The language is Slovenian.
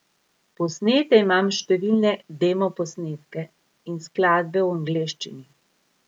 Posnete imam številne demoposnetke in skladbe v angleščini.